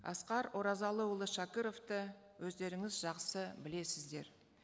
асқар оразалыұлы шәкіровты өздеріңіз жақсы білесіздер